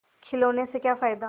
खिलौने से क्या फ़ायदा